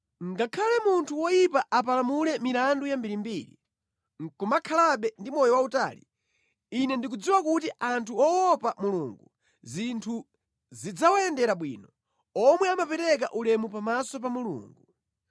Ngakhale munthu woyipa apalamule milandu yambirimbiri, nʼkumakhalabe ndi moyo wautali, ine ndikudziwa kuti anthu owopa Mulungu zinthu zidzawayendera bwino, omwe amapereka ulemu pamaso pa Mulungu.